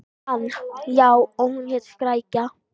Hann: Já, og hún hét Skrækja.